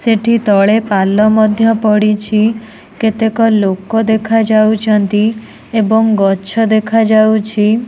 ସେଠି ତଳେ ପାଲ ମଧ୍ୟ ପଡ଼ିଛି କେତେକ ଲୁକ ଦେଖାଯାଉଚନ୍ତି ଏବଂ ଗଛ ଦେଖାଯାଉଛି।